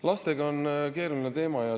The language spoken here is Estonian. Lapsed on keeruline teema.